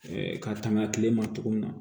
ka tanga tile ma cogo min na